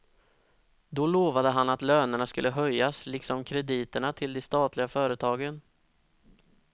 Då lovade han att lönerna skulle höjas liksom krediterna till de statliga företagen.